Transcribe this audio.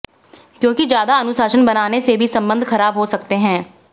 क्योंकि ज्यादा अनुशासन बनाने से भी संबंध खराब हो सकते हैं